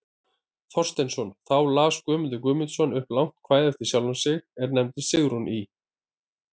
Thorsteinsson, þá las Guðmundur Guðmundsson upp langt kvæði eftir sjálfan sig, er nefnist Sigrún í